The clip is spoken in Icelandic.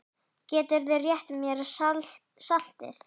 Gætirðu rétt mér saltið?